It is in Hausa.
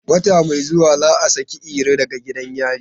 Wata mai zuwa za a saki Iro daga gidan yari.